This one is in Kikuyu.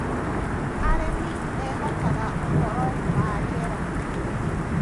arĩmi mehokaga uhoro wa riera